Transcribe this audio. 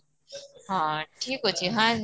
ହଁ ଠିକ ଅଛି ହାଁ